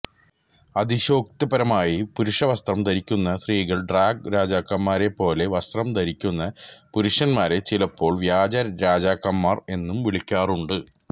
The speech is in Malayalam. അതിശയോക്തിപരമായി പുരുഷവസ്ത്രം ധരിക്കുന്ന സ്ത്രീകൾ ഡ്രാഗ് രാജാക്കന്മാരെപ്പോലെ വസ്ത്രം ധരിക്കുന്ന പുരുഷന്മാരെ ചിലപ്പോൾ വ്യാജ രാജാക്കന്മാർ എന്ന് വിളിക്കാറുണ്ട്